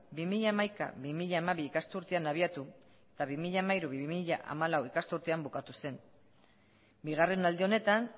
bi mila hamaika bi mila hamabi ikasturtean abiatu eta bi mila hamairu bi mila hamalau ikasturtean bukatu zen bigarren aldi honetan